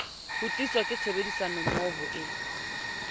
ho tliswa ke tshebedisanommoho e